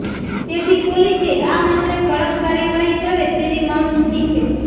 તેથી પોલીસે આ મામલે કડક કાર્યવાહી કરે તેવી માંગ ઉઠી છે